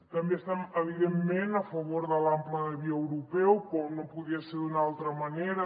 també estem evidentment a favor de l’ample de via europeu com no podia ser d’una altra manera